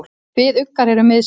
Kviðuggar eru miðsvæðis.